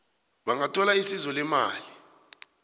bangathola isizo leemali